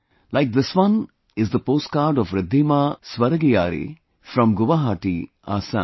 Like this one is the post card of Riddhima Swargiyari from Guwahati, Assam